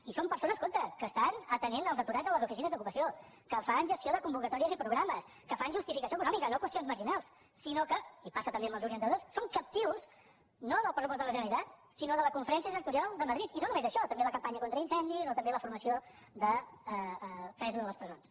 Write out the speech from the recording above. i són persones compte que estan atenent els aturats a les oficines d’ocupació que fan gestió de convocatòries i programes que fan justificació econòmica no qüestions marginals sinó que i passa també amb els orientadors són captius no del pressupost de la generalitat sinó de la conferència sectorial de madrid i no només això també la campanya contra incendis o també la formació de presos a les presons